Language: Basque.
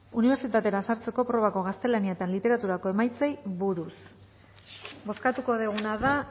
unibertsitatera sartzeko probako gaztelania eta literaturako emaitzei buruz bozkatuko duguna da